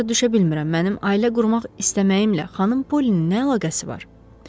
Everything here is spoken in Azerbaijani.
Hələ də başa düşə bilmirəm, mənim ailə qurmaq istəməyimlə xanım Polinin nə əlaqəsi var?